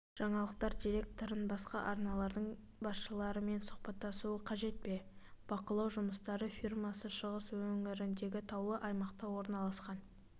жаңалықтар директорын басқа арналардың басшыларымен сұхбаттасуы қажет пе бақылау жұмыстары фирмасы шығыс өңіріндегі таулы аймақта орналасқан